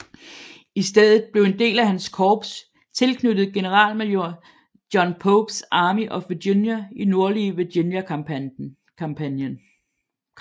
I stedet blev en del af hans korps tilknyttet generalmajor John Popes Army of Virginia i Nordlige Virginia kampagnen